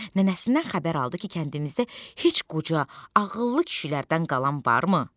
Nənəsindən xəbər aldı ki, kəndimizdə heç qoca ağıllı kişilərdən qalan varmı?